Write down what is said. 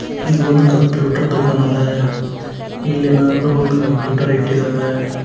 ಇದು ಒಂದ ಕಂಪ್ಯೂಟರ್ ದುಖಾನ ಅದ ಇಲ್ಲಿ ಏನಾದ್ರು ಒಂದ ಕಂಪ್ಯೂಟರ್ ಇಟ್ಟಿದಾವ.